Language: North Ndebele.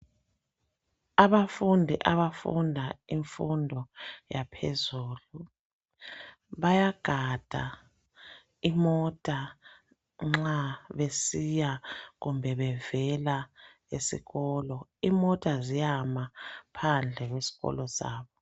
Abafundi abafunda imfundo yaphezulu, bayagada imota nxa besiya kumbe bevela esikolo, imota ziyama phandle kwesikolo sabo.